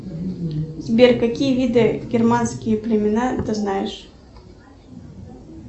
сбер какие виды германские племена ты знаешь